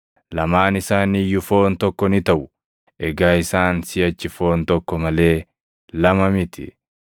lamaan isaanii iyyuu foon tokko ni taʼu.’ + 10:8 \+xt Uma 2:24\+xt* Egaa isaan siʼachi foon tokko malee lama miti.